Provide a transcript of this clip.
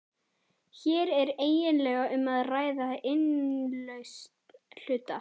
Hér er eiginlega um að ræða innlausn hluta.